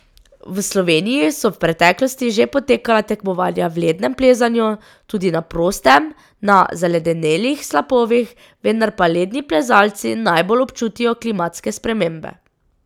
V Sloveniji so v preteklosti že potekala tekmovanja v lednem plezanju, tudi na prostem, na zaledenelih slapovih, vendar pa ledni plezalci najbolj občutijo klimatske spremembe.